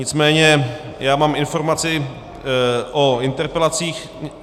Nicméně já mám informaci o interpelacích...